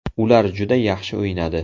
Ular juda yaxshi o‘ynadi.